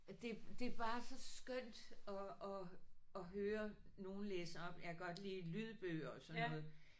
Og det det er bare så skønt at at at høre nogle læse op jeg kan godt lide lydbøger og sådan noget